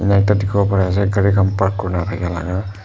Aro ekta dekhibo pari ase gaari khan park kurina rakhi laga.